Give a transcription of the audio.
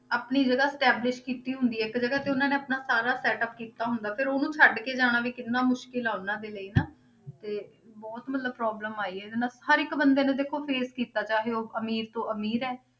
ਆਪਣੀ ਜਗ੍ਹਾ establish ਕੀਤੀ ਹੁੰਦੀ ਹੈ, ਇੱਕ ਜਗ੍ਹਾ ਤੇ ਉਹਨਾਂ ਨੇ ਆਪਣਾ ਸਾਰਾ setup ਕੀਤਾ ਹੁੰਦਾ, ਫਿਰ ਉਹਨੂੰ ਛੱਡ ਕੇ ਜਾਣਾ ਵੀ ਕਿੰਨਾ ਮੁਸ਼ਕਲ ਆ ਉਹਨਾਂ ਦੇ ਲਈ ਨਾ ਤੇ ਬਹੁਤ ਮਤਲਬ problem ਆਈ ਇਹਦੇ ਨਾਲ, ਹਰ ਇੱਕ ਬੰਦੇ ਨੇ ਦੇਖੋ face ਕੀਤਾ ਚਾਹੇ ਉਹ ਅਮੀਰ ਤੋਂ ਅਮੀਰ ਹੈ,